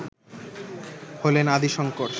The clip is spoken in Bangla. হলেন আদি শঙ্কর